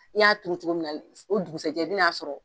Ni y'a turu cogo min na o dugusajɛ i bin'a sɔrɔ.